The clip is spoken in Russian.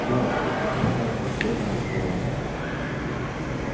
гарри что ты задыхаясь от бега начал рон